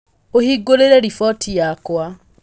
ũhingũrire roboti yakwa